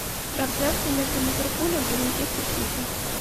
трансляция между ливерпулем и манчестер сити